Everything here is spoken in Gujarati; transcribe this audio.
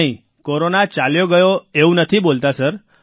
નહીં કોરોના ચાલ્યો ગયો એવું નથી બોલતા સર